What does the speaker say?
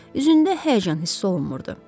Üzündə həyəcan hissi olunmurdu.